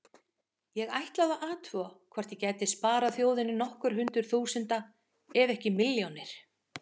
Ég ætlaði að athuga hvort ég gæti sparað þjóðinni hundruð þúsunda króna ef ekki milljónir.